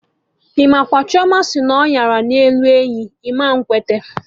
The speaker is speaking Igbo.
Imakwa! Chioma sị na ọnyara na-elu enyi, ịma ekwete!